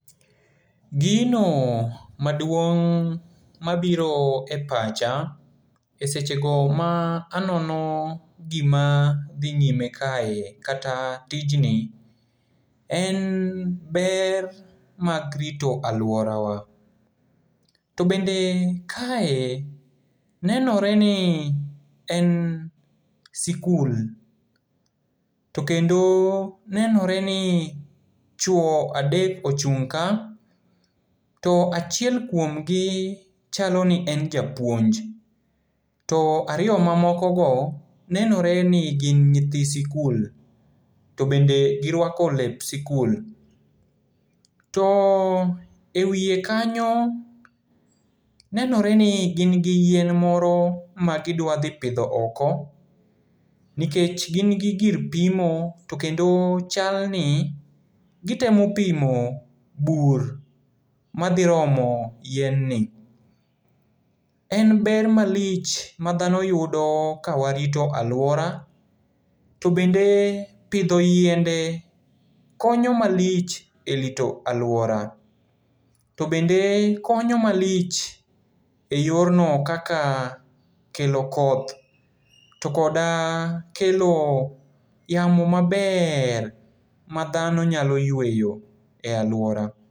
Gino maduong' mabiro e pacha e sechego ma anono gima dhi nyime kae, kata tijni, en ber mag rito aluorawa. To bende kae, nenoreni en sikul, to kendo nenoreni chuo adek ochung' ka, to achiel kuomgi chaloni en japuonj. To ariyo mamokogo nenoreni gi nyithi sikul, to bende giruako lep sikul. To e wie kanyo, nenoreni gin gi yien moro magidua dhi pidho oko, nikech gin gi gir pimo to kendo chalni gitemo pimo bur madhi romo yien ni. En ber malich madhano yudo kawarito aluora. To bende pidho yiende konyo malich e rito aluora. To bende konyo malich e yorno kaka kelo koth, to koda kelo yamo maber madhano nyalo yueyo e aluora.